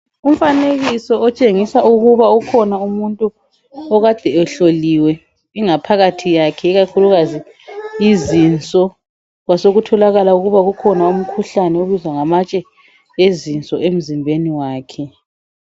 Umfanekiso otshengisa ukuba ukhona umuntu okade ehloliwe, ingaphakathi kwakhe, ikakhulukazi izinso. Kwasekuthokala ukuthi kulomkhuhlane obizwa ngamatshe ezinso emzimbeni wakhe.